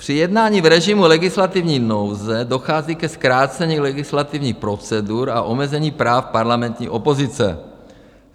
Při jednání v režimu legislativní nouze dochází ke zkrácení legislativních procedur a omezení práv parlamentních opozice.